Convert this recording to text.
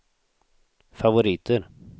favoriter